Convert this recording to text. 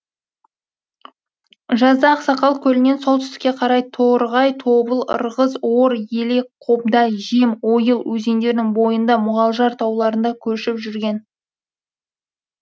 жазда ақсақал көлінен солтүстікке қарай торғай тобыл ырғыз ор елек қобда жем ойыл өзендерінің бойында мұғалжар тауларында көшіп жүрген